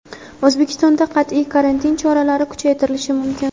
O‘zbekistonda qat’iy karantin choralari kuchaytirilishi mumkin.